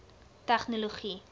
tegnologie